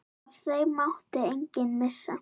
Af þeim mátti enginn missa.